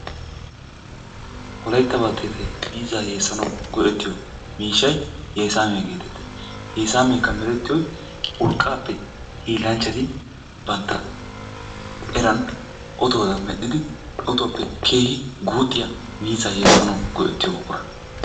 Wolaytta baltteetayi miizzaa yeessanawu go"ettiyo miishshayi yeesaamiya geetettes. Yeesaameekka. merettiyoyi urqqaappe hiillanchchati bantta eran otuwadan medhdhidi otuwappe keehi guuxxiya miizzaa yeessanawu go"ettiyo buqura.